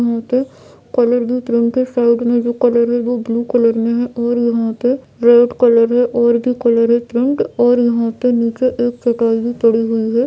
यहाँ पे के साइड में जो कलर है वो ब्लू कलर में है और यहाँ पे रेड कलर है और भी कलर है पिंक और यहाँ पे नीचे एक चटाई भी पड़ी है।